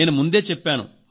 నేను ముందే చెప్పాను